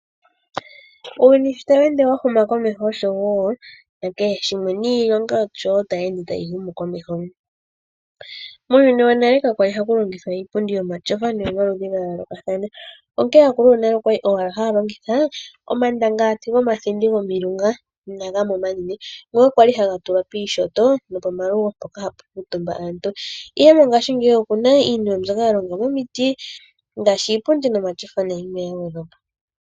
Uuyuni sho tawu ende wahuma komeho oshowo nakehe shimwe niilonga osho woo tayi ende tayi humu komeho. Muuhuni wonale ka kwa li haku longithwa iipundi yomatyofa ihe aakulu yonale okwali owala haya longitha omandangalati gomathindi gomilunga nagamwe omanene ngoka kwa li haga tulwa piinyanga nopomalugo mpoka hapu kuutumba aantu, ihe mongashingeya oku na iinima mbyoka ya longwa miiti ngaashi omatyofa nayilwe ya gwedhwa po.